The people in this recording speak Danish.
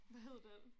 Hvad hed den?